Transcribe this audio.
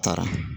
Taara